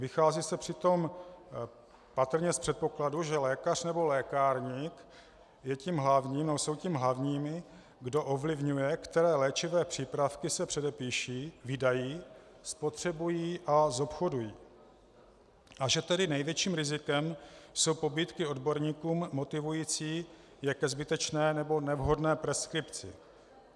Vychází se přitom patrně z předpokladu, že lékař nebo lékárník jsou těmi hlavními, kdo ovlivňují, které léčivé přípravky se předepíší, vydají, spotřebují a zobchodují, a že tedy největším rizikem jsou pobídky odborníkům motivující je ke zbytečné nebo nevhodné preskripci.